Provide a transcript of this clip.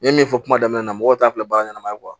N ye min fɔ kuma daminɛ na mɔgɔw t'a filɛ bara ɲɛnama ye